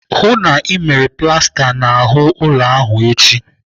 Hụụ na Ị mara plasta n'ahụ ụlọ ahụ echi!